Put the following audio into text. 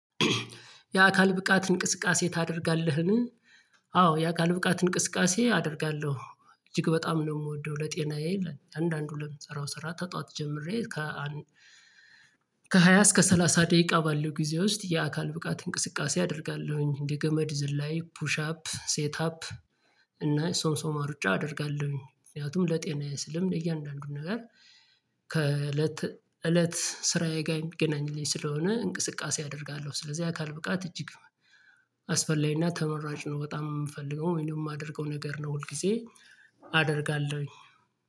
የአካል ብቃት እንቅስቃሴ ታደርጋለህን? አዎ የአካል ብቃት እንቅስቃሴ አደርጋለሁ እጅግ በጣም ነው የምወደው ለጤናዬ ለእያንዳንዱ ለምንሰራው ስራ ከጧት ጀምሬ። ከሃያ እስከ ሰላሳ ደቂቃ ባለው ጊዜ ውስጥ የአካል ብቃት እንቅስቃሴ አደርጋለሁኝ እንደ ገመድ ዝላይ ፑሽ አፕ ሴት አፕ። እና ሶምሶማ ሩጫ አደርጋለሁኝ ምክንያቱም ለጤናየ ስልም ለእያንዳንዱም ነገር። ከእለት እለት ስራዬ ጋር የሚገናኝልኝ ስለሆነ እንቅስቃሴ አደርጋለሁ ስለዚህ አካል ብቃት እጅግ አስፈላጊና ተመራጭ ነው። በጣም የምፈልገው ወይም ደግሞ የማደርገው ነገር ነው ሁል ጊዜ አደርጋለሁኝ።